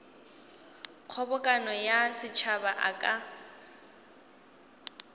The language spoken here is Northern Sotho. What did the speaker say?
kgobokano ya setšhaba a ka